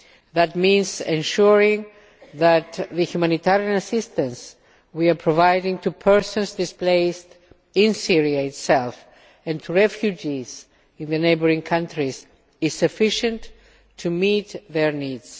That means ensuring that the humanitarian assistance we are providing to persons displaced in Syria itself and to refugees in the neighbouring countries is sufficient to meet their needs.